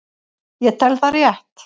Ég tel það rétt.